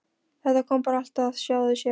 Þetta kom bara allt af sjálfu sér.